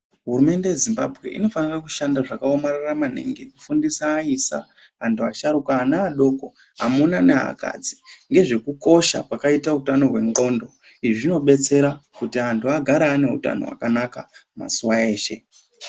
Hurumente inofane kushanda zvakawomarara maningi kufundisa vaisa ,antu asharukwa ,ana adoko ,amuna neakadzi ngezvekukosha kwakaita hutano hwenxondo. Izvi zvinodetsera kuti antu agare ane hutano hwakawanda mazuwa eshe.